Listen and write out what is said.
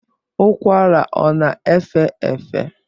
Ụkwara ọ na-efe efe?